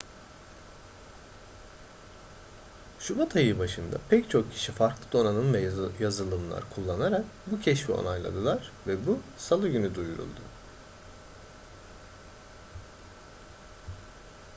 şubat ayı başında pek çok kişi farklı donanım ve yazılımlar kullanarak bu keşfi onayladılar ve bu salı günü duyuruldu